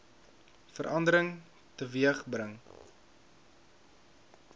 verandering teweeg gebring